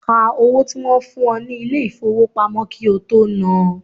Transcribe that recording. Ka owó tí wọ́n fún ọ ní ilé ìfowópamọ́ kí ó tó nán an.